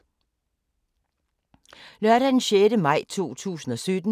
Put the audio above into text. Lørdag d. 6. maj 2017